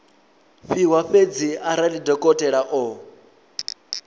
fhiwa fhedzi arali dokotela o